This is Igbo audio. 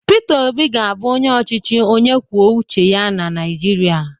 Peter Obi ga-abụ onye ọchịchị onye kwuo uche ya na Naịjirịa